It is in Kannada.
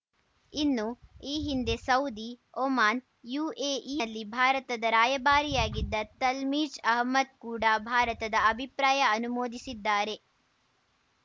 ಇನ್ನು ಈ ಹಿಂದೆ ಸೌದಿ ಒಮಾನ್‌ ಯುಎಇನಲ್ಲಿ ಭಾರತದ ರಾಯಭಾರಿಯಾಗಿದ್ದ ತಲ್ಮೀಜ್‌ ಅಹಮದ್‌ ಕೂಡಾ ಭಾರತದ ಅಭಿಪ್ರಾಯ ಅನುಮೋದಿಸಿದ್ದಾರೆ